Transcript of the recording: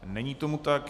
Není tomu tak.